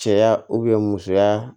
Cɛya musoya